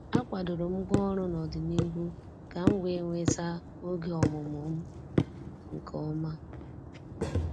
A kwadoro m ngwaọrụ n'ọdịnihu ka m wee nweta oge ọmụmụ m nke ọma.